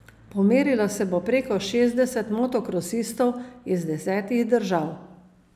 Pomerilo se bo preko šestdeset motokrosistov iz desetih držav.